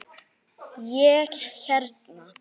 Ég hérna.